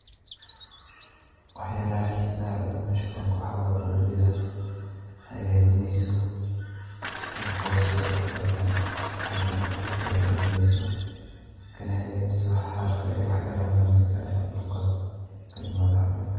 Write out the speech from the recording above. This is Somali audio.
Wax yalaha xisaha leeh an meeshan kuarko waxa waye bonbida oo hagajineyso ee korsarntahay hadan luug ey galineyso kanahagajiso xaarka iyo waxyalaha lamidka ah ee dhulka ee kaimada xawayanka.